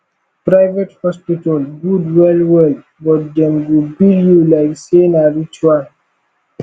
private hospital gud wel wel but dem go bill yu lyk sey na ritual